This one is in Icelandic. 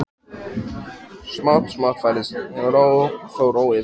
Smátt og smátt færðist þó ró yfir hópinn.